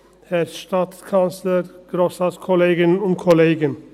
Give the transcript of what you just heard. Herr Sancar, Sie haben das Wort.